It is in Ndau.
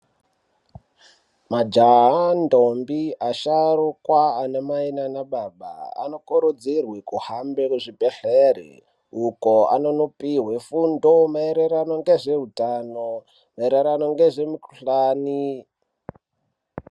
Majaha ndombi asharukwa anamai nanababa anokurudzirwe kuhambe kuzvibhedhlere. Uko anonopihwe fundo maererano ngezveutano maererano ngezvemukuhlani.